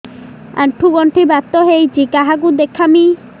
ଆଣ୍ଠୁ ଗଣ୍ଠି ବାତ ହେଇଚି କାହାକୁ ଦେଖାମି